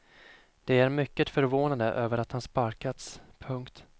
De är mycket förvånade över att han sparkats. punkt